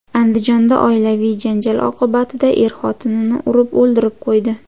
Andijonda oilaviy janjal oqibatida er xotinini urib o‘ldirib qo‘ydi.